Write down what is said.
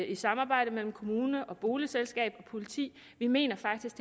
et samarbejde mellem kommune boligselskab og politi vi mener faktisk